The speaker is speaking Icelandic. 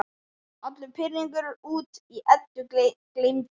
Allur pirringur út í Eddu gleymdur.